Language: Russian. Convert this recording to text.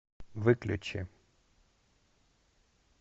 выключи